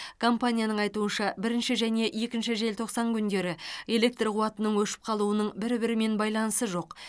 компанияның айтуынша бірінші және екінші желтоқсан күндері электр қуатының өшіп қалуының бір бірімен байланысы жоқ